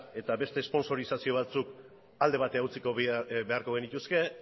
eta beste esponsorizazio batzuk alde batera utzi beharko genituzke